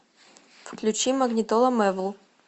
включи магнитола мэвл